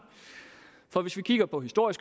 og hvis vi kigger på historien